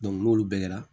n'olu bɛɛ kɛra